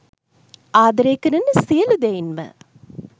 ආදරය කරන සියලූ දෙයින්ම